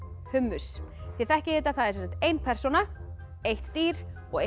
hummus þið þekkið þetta það er ein persóna eitt dýr og eitt